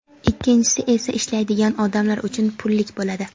ikkinchisi esa ishlaydigan odamlar uchun pullik bo‘ladi.